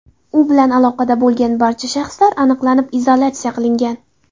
U bilan aloqada bo‘lgan barcha shaxslar aniqlanib, izolyatsiya qilingan.